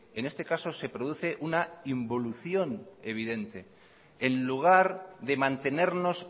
en este caso se produce una involución evidente en lugar de mantenernos